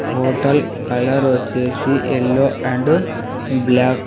Hotel colour వచ్చేసి yellow and black .